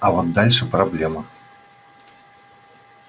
а вот дальше проблема